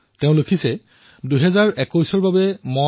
ভেংকটজীয়ে লিখিছে মই আপোনাক ২০২১ৰ বাবে মোৰ এবিচি গাঁঠি দিছো